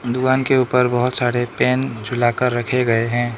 दुकान के ऊपर बहोत सारे पेन झूला कर रखे गए हैं।